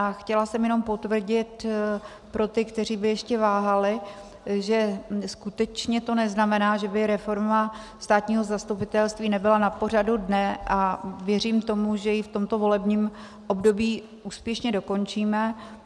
A chtěla jsem jenom potvrdit pro ty, kteří by ještě váhali, že skutečně to neznamená, že by reforma státního zastupitelství nebyla na pořadu dne, a věřím tomu, že ji v tomto volebním období úspěšně dokončíme.